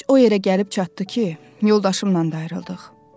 İş o yerə gəlib çatdı ki, yoldaşımla da ayrıldıq.